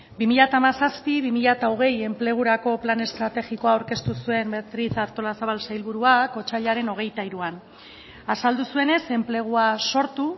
bi mila hamazazpi bi mila hogei enplegurako plan estrategikoa aurkeztu zuen beatriz artolazabal sailburuak otsailaren hogeita hiruan azaldu zuenez enplegua sortu